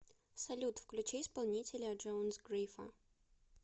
салют включи исполнителя джонс грифа